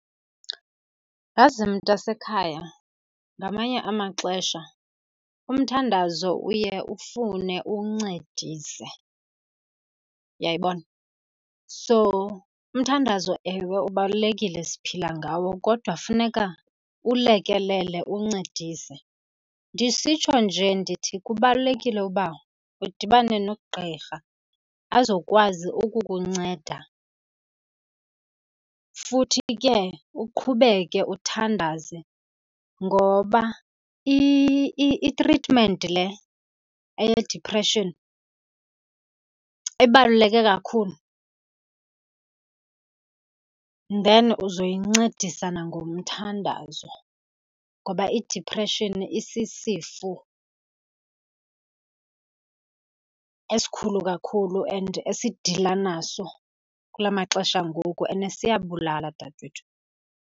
Yazi mntasekhaya, ngamanye amaxesha umthandazo uye ufune uwuncedise. Uyayibona? So umthandazo, ewe, ubalulekile siphila ngawo kodwa funeka uwulekelele uwuncedise. Ndisitsho nje ndithi kubalulekile uba udibane nogqirha azokwazi ukukunceda, futhi ke uqhubeke uthandaze ngoba itritmenti le eyediphreshini ibaluleke kakhulu. Then uzoyincedisa nangomthandazo ngoba idiphreshini isisifo esikhulu kakhulu and esidila naso kula maxesha angoku and siyabulala dadewethu.